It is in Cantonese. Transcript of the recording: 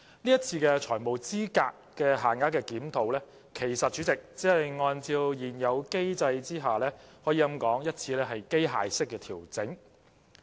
這次的財務資格限額檢討，其實只是按照現有機制的一次機械式調整。